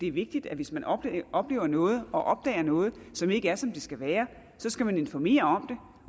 er vigtigt at hvis man oplever oplever noget og opdager noget som ikke er som det skal være skal man informere